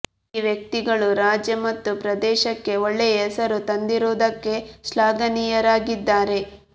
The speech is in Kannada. ಈ ವ್ಯಕ್ತಿಗಳು ರಾಜ್ಯ ಮತ್ತು ಪ್ರದೇಶಕ್ಕೆ ಒಳ್ಳೆಯ ಹೆಸರು ತಂದಿರುವುದಕ್ಕೆ ಶ್ಲಾಘನೀಯರಾಗಿದ್ದಾರೆ